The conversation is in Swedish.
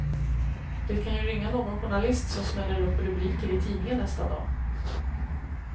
Det kan ju ringa någon journalist som smäller upp rubriker i tidningen nästa dag.